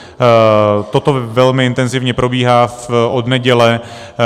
Toto velmi intenzivně probíhá od neděle.